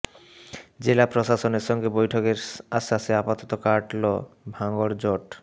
জেলা প্রশাসনের সঙ্গে বৈঠকের আশ্বাসে আপাতত কাটল ভাঙড় জট